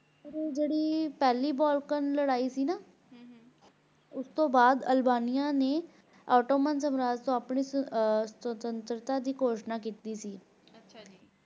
ਜਿਹੜੀ ਪਹਿਲੀ Balkan ਲੜਾਈ ਸੀ ਨਾ ਉਸ ਤੋਂ ਬਾਅਦ ਅਲਬਾਨੀਆ ਨੇ Ottoman ਸਾਮਰਾਜ ਤੋਂ ਆਪਣੀ ਸੁਤੰਤਰਤਾ ਦੀ ਘੋਸ਼ਣਾ ਕੀਤੀ ਸੀ l